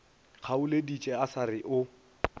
kgaoleditše a sa re o